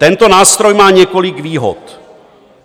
Tento nástroj má několik výhod.